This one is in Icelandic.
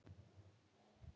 Allir horfa til Arons.